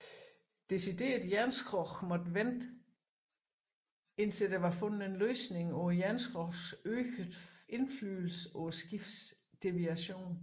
Deciderede jernskrog måtte vente indtil der var fundet en løsning på jernskrogets øgede indflydelse på skibets deviation